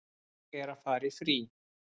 Ég er að fara í frí.